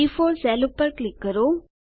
B4 cell પર click કરો